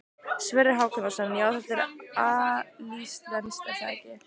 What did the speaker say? Sverrir Hákonarson: Já, þetta er alíslenskt er það ekki?